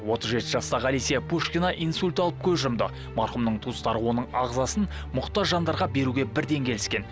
отыз жеті жастағы олеся пушкина инсульт алып көз жұмды марқұмның туыстары оның ағзасын мұқтаж жандарға беруге бірден келіскен